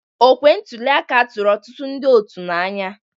Okwe ntuli aka tụrụ ọtụtụ ndị otu n'anya.